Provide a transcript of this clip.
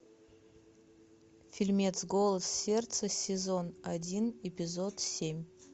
фильмец голос сердца сезон один эпизод семь